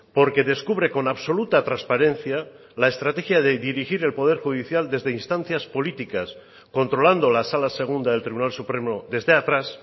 porque descubre con absoluta transparencia la estrategia de dirigir el poder judicial desde instancias políticas controlando la sala segunda del tribunal supremo desde atrás